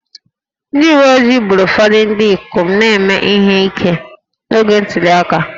Ndị uwe ojii gburu ụfọdụ ndị ikom na-eme ihe ike n'oge ntuli aka